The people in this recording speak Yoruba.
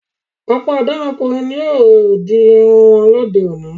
Ọ̀pọ̀ ọ̀dọ́mọkùnrin ni ó di irun wọn lóde-òní.